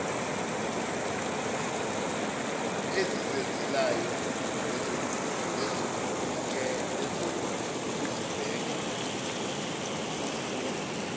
ezizenzelayo nezokuzibheka nokuzilungisela